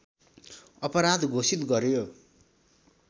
अपराध घोषित गर्यो